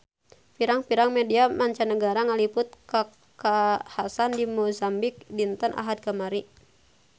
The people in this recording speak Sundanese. Pirang-pirang media mancanagara ngaliput kakhasan di Mozambik dinten Ahad kamari